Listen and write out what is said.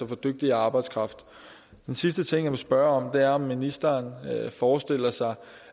få dygtigere arbejdskraft en sidste ting jeg vil spørge om er om ministeren forestiller sig